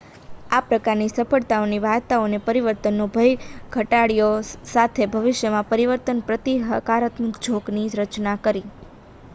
આ પ્રકારની સફળતાની વાર્તાઓએ પરિવર્તનનો ભય તો ઘટાડ્યો સાથે ભવિષ્યમાં પરિવર્તન પ્રતિ હકારાત્મક ઝોકની રચના કરી